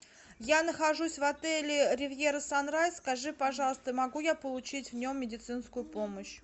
я нахожусь в отеле ривьера санрайз скажи пожалуйста могу я получить в нем медицинскую помощь